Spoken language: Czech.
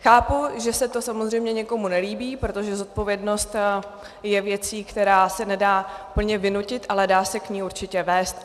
Chápu, že se to samozřejmě někomu nelíbí, protože zodpovědnost je věcí, která se nedá úplně vynutit, ale dá se k ní určitě vést.